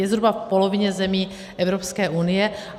Je zhruba v polovině zemí Evropské unie.